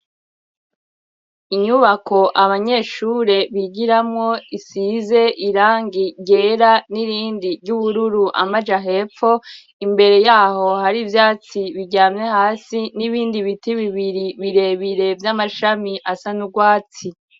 Inyubako abanyeshure bigiramwo isize irangi ryera n'irindi ry'ubururu amaja hepfo, imbere yaho hari ivyatsi biryamye hasi n'ibindi biti bibiri birebire vy'amashami asa n'ugwatsi